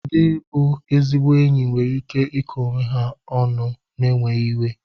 Ndị bụ ezigbo enyi nwere ike iko onwe ha ọnụ n'enweghị iwe.